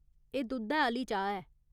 एह् दुद्धै आह्‌ली चाह् ऐ।